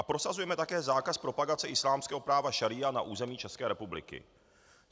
A prosazujeme také zákaz propagace islámského práva šaría na území České republiky.